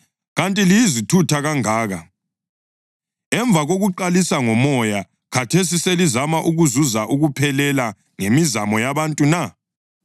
Kanti liyizithutha kangaka? Emva kokuqalisa ngoMoya, khathesi selizama ukuzuza ukuphelela ngemizamo yabantu na?